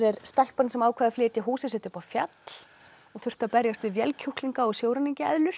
stelpan sem ákvað að flytja húsið sitt upp á fjall og þurfti að berjast við vélkjúklinga og